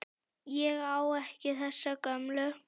Ég á ekki þessa gömlu.